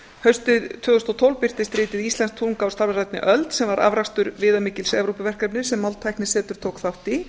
haustið tvö þúsund og tólf birtist ritið íslensk tunga á stafrænni öld sem var afrakstur viðamikils evrópuverkefnis sem máltæknisetur tók þátt í